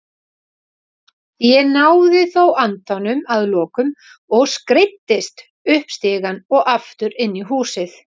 Ég náði þó andanum að lokum og skreiddist upp stigann og aftur inn í húsið.